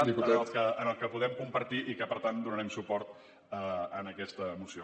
en el qual podem compartir i que per tant donarem suport a aquesta moció